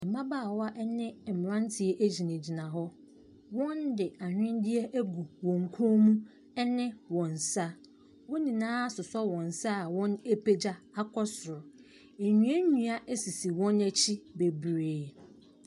Mmabaawa ɛne mmranteɛ agyina gyina hɔ. wɔn de ahwenneɛ agu wɔn kɔn mu ɛne wɔnsa. Wɔn nyinaa asosɔ wɔn nsa a w'apagya akɔ soro. Nnua nnua asisi wɔn akyi bebree.